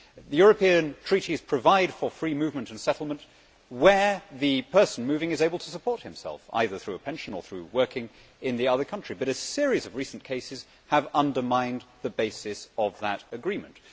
The European Treaties provide for free movement and settlement where the person moving is able to support himself, either from a pension or by working in the host country, but a series of recent cases has undermined the basis of that agreement.